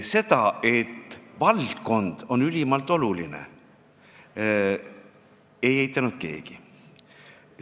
Seda, et valdkond on ülimalt oluline, ei eitanud keegi.